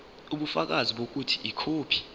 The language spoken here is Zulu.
ubufakazi bokuthi ikhophi